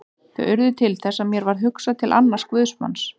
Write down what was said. Þau urðu til þess að mér varð hugsað til annars guðsmanns.